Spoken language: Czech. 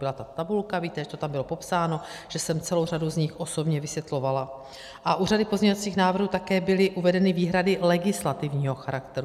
Byla tam tabulka, víte, že to tam bylo popsáno, že jsem celou řadu z nich osobně vysvětlovala, a u řady pozměňovacích návrhů také byly uvedeny výhrady legislativního charakteru.